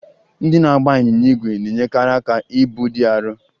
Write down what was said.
Ndị na-agba ịnyịnya ígwè na-enyere aka ibu dị arọ.